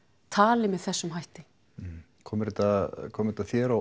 tali með þessum hætti kom þetta kom þetta þér á